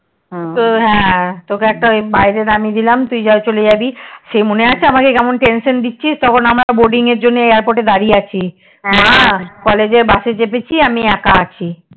তো হ্যাঁ তোকে বাইরে নামিয়ে দিলাম তুই বাইরে চলে জাবি সেই মনে আছে আমাকে সেই মনে আছে আমাকে কেমন tension দিছিস আমি boarding এর জন্যে Airport এ দাঁড়িয়ে college এর Bus এ চেপেছি আমি একা আছি